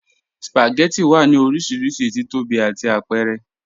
Spagẹttì wà ní orísírísí tíìtọ́bí àti àpẹ̀rẹ̀.